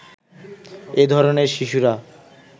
এ ধরনের শিশুরা